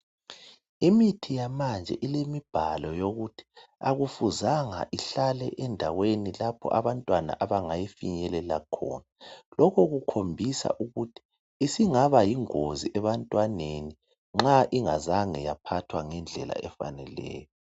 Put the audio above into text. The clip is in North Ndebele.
Imithi yamanje ilemibhalo yokuthi akufuzanga ihlale endaweni lapho abantwana abangayifinyelela khona. Lokhu kukhombisa ukuthi isingaba yingozi ebantwaneni nxa ingazange yaphathwa ngendlela efaneleyo.